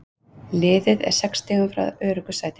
Liðið er sex stigum frá öruggu sæti.